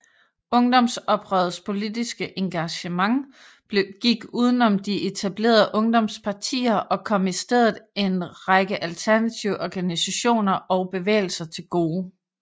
Ungdomsoprørets politiske engagement gik udenom de etablerede ungdomspartier og kom i stedet en række alternative organisationer og bevægelser til gode